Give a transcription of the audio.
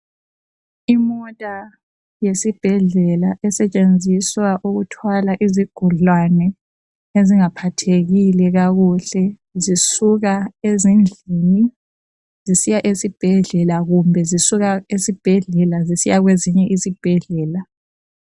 Imota yesibhedlela esetshenziswa ukuthwala izigulane ezingaphathekile kakuhle , zisuka ezindlini zisiya esibhedlela kumbe zisuka esibhedlela zisiya kwezinye izibhedlela